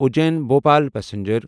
Ujjain Bhopal passenger